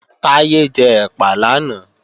Táyé jẹ ẹ̀pà làná